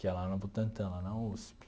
que é lá no Butantã, lá na USP.